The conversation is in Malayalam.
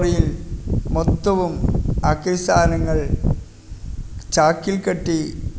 മുറിയിൽ മൊത്തവും ആക്രി സാധനങ്ങൾ ചാക്കിൽ കെട്ടി--